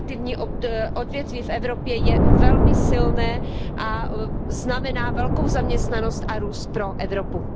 Kreativní odvětví v Evropě je velmi silné a znamená velkou zaměstnanost a růst pro Evropu.